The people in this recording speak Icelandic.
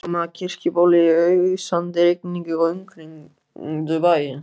Þeir komu að Kirkjubóli í ausandi rigningu og umkringdu bæinn.